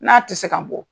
N'a tɛ se ka bɔ